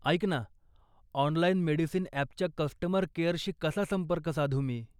ऐक ना, online medicine ॲपच्या कस्टमर केअरशी कसा संपर्क साधू मी?